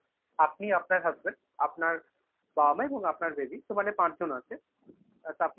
আপনি আপনার husband আপনার বাবা-মা এবং আপনার baby তো মানে পাঁচজন আছে। আচ্ছা আপনি